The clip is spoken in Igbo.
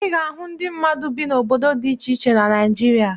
Ị ga-ahụ ndị mmadụ bi n'obodo dị iche iche na Naịjirịa.